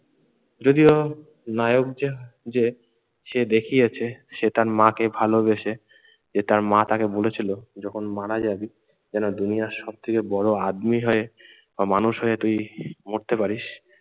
যদিও নায়ক যে যে সে দেখিয়েছে সে তার মাকে ভালোবেসে যে তার মা তাকে বলেছিল যখন মারা যাবি যেন দুনিয়ার সব থেকে বড়ো আদমি হয়ে বা মানুষ হয়ে তুই মরতে পারিস